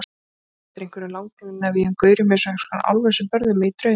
Ég man bara eftir einhverjum langnefjuðum gaurum, eins konar álfum, sem börðu mig í draumi.